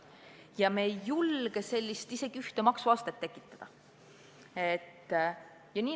Ja me ei julge isegi mitte ühte maksuastet tekitada.